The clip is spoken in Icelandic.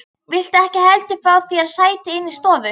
Viltu ekki heldur fá þér sæti inni í stofu?